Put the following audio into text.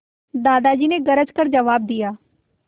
दादाजी ने गरज कर जवाब दिया